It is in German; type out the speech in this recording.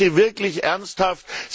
Also, ich bitte wirklich ernsthaft.